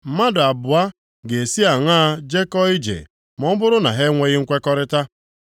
Mmadụ abụọ ga-esi aṅaa jekọọ ije ma ọ bụrụ na ha enweghị nkwekọrịta?